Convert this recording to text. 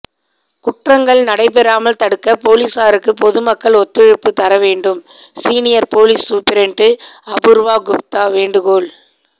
குற்றங்கள் நடைபெறாமல் தடுக்க போலீசாருக்கு பொதுமக்கள் ஒத்துழைப்பு தர வேண்டும் senior police superintendent Apoorva Gupta வேண்டுகோள்